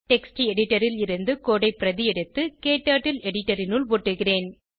text editor ல் இருந்து code ஐ பிரதி எடுத்து க்டர்ட்டில் எடிட்டர் இனுள் ஒட்டுகிறேன்